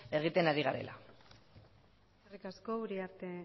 egiten ari garela eskerrik asko uriarte